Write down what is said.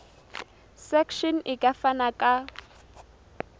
section e ka fana ka